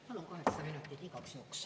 Palun kaheksa minutit igaks juhuks.